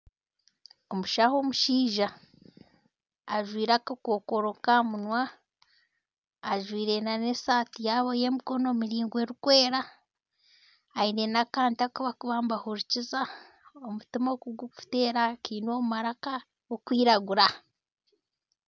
Omushaho omushaija ajwaire akakokoro k'aha munwa ajwaire n'esaati yaabo y'emikono miraingwa erikwera aine n'akantu aku bakuba nibahurikiza omutima oku gurikuteera akaine omu maraka nk'okwiragura.